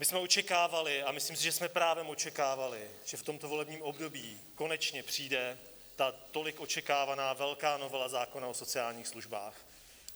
My jsme očekávali, a myslím si, že jsme právem očekávali, že v tomto volebním období konečně přijde ta tolik očekávaná velká novela zákona o sociálních službách.